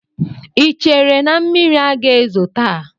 Ị chere na mmiri aga ezo taa?